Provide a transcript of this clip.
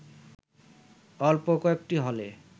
অল্প কয়েকটি হলে